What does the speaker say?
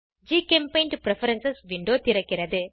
ஜிசெம்பெயிண்ட் preference window திறக்கிறது